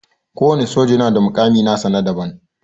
Kowana soja yana da mukami nasa na daban.